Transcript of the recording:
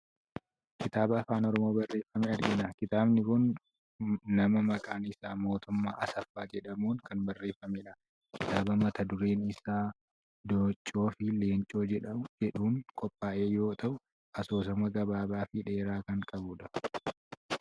Kitaaba afaan Oromoon barreeffame argina .Kitaabni kun nama maqaan isaa Mootummaa Asaffaa jedhamuun kan barreeffamedha. Kiataaba mata dureen isaa" Dooccoo fi Leencoo" jedhuun qophaa'e yoo ta'u, asoosama gabaabaa fi dheeraa kan qabudha.